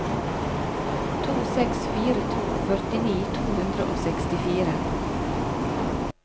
to seks fire to førtini to hundre og sekstifire